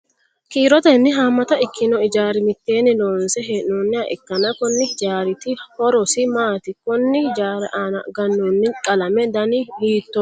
kiirotenni haammata ikkino ijaara mitteenni loonse hee'nooniha ikkanna, konni hijaariti horosi maati? konni hijaari aana gannoonni qalame dani hiittooho ?